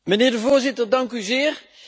Meneer de voorzitter, dank u zeer.